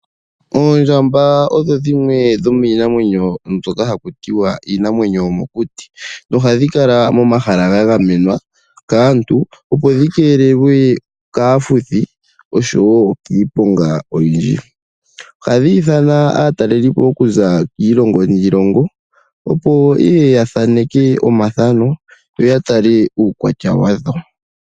Oondjamba odho dhimwe dhomiinamwenyo mbyoka haku tiwa iinamwenyo yomokuti nohadhi kala momahala ga gamenwa kaantu, opo dhi keelelwe kaafuthi noshowo kiiponga oyindji. Ohadhi hili aatalelipo okuza kiilongo niilongo, opo ye ye ya thaneke omathano yo ya tale uukwatya wa dho.